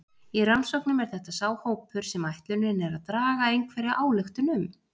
Í rannsóknum er þetta sá hópur sem ætlunin er að draga einhverja ályktun um.